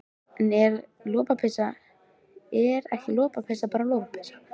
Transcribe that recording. En er ekki lopapeysa bara lopapeysa?